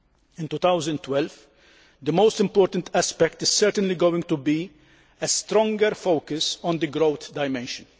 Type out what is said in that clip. In 2012 the most important aspect is certainly going to be a stronger focus on the growth dimension.